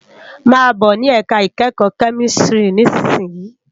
Má bò ni èká ikèékò kèmìsítìrí nìsísìyín